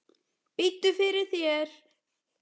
Biddu fyrir þér!